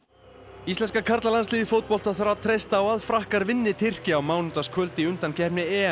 íslenska karlalandsliðið í fótbolta þarf að treysta á að Frakkar vinni Tyrki á mánudagskvöld í undankeppni